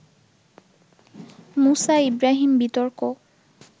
মুসা ইব্রাহীম বিতর্ক